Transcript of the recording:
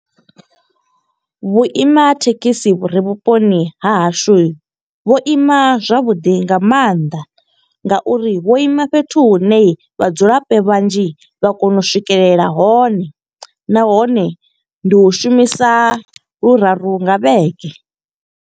Vhuima ha thekhisi vhu re vhuponi ha hashu. Vho ima zwavhuḓi nga maanḓa nga uri vho ima fhethu hune vhadzulapo vhanzhi vha kona u swikelela hone. Nahone ndi hu shumisa luraru nga vhege.